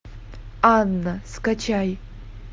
анна скачай